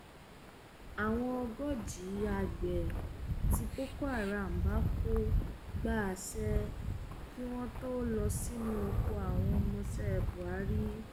àwọn ogójì àgbẹ tí boko haram pa kò gba àṣẹ kí wọn tóó lọ sínú oko wọn ọmọọṣẹ buhari